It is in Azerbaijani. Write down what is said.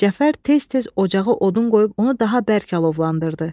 Cəfər tez-tez ocağa odun qoyub onu daha bərk alovlandırdı.